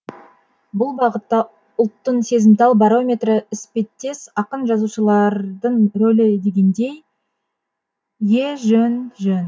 бұл бағытта ұлттың сезімтал барометрі іспеттес ақын жазушылардың рөлі дегендей е е жөн жөн